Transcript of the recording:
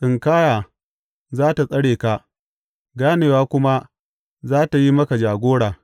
Tsinkaya za tă tsare ka, ganewa kuma za tă yi maka jagora.